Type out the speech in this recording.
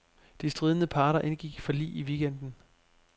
De stridende parter indgik forlig i weekenden.